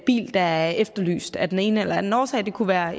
bil der er efterlyst af den ene eller anden årsag det kunne være